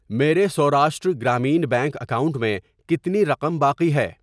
میرے Saurashtra Gramin bank account میں کتنی رقم باقی ہے؟